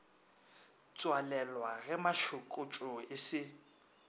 tswalelwa ge mašokotšo e se